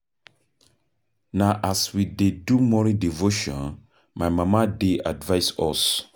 Na as we dey do morning devotion my mama dey advise us.